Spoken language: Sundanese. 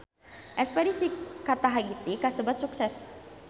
Espedisi ka Tahiti kasebat sukses